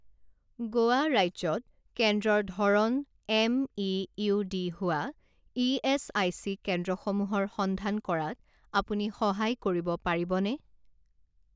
গোৱা ৰাজ্যত কেন্দ্ৰৰ ধৰণ এম.ই.ইউ.ডি. হোৱা ইএচআইচি কেন্দ্ৰসমূহৰ সন্ধান কৰাত আপুনি সহায় কৰিব পাৰিবনে?